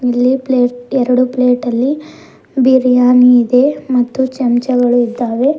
ಇಲ್ಲಿ ಪ್ಲೇಟ್ ಎರಡು ಪ್ಲೇಟ ಲ್ಲಿ ಬಿರಿಯಾನಿ ಇದೆ ಮತ್ತು ಚಮಚಗಳು ಇದ್ದಾವೆ.